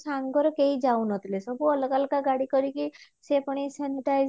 ସାଙ୍ଗରେ କେହି ଯାଉନଥିଲେ ସବୁ ଅଲଗା ଅଲଗା ଗାଡି କରିକି ସେ ପୁଣି sanitize